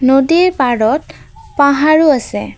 নদীৰ পাৰত পাহাৰো আছে।